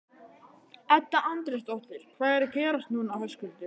Edda Andrésdóttir: Hvað er að gerast núna Höskuldur?